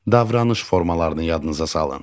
davranış formalarını yadınıza salın.